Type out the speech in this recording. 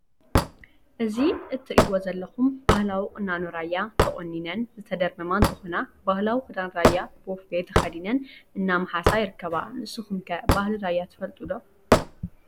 እዚ እትሪእዎ ዘለኹም ባህላዊ ቁናኖ ራያ ተቆኒነን ዝተደርመማ እንትኾና ባህላዊ ክዳን ራያ ቦፌ ተኸዲነን እናመሓሳ ይርከባ። ንስኹም ኸ ባህሊ ራያ ትፈልጡ ዶ?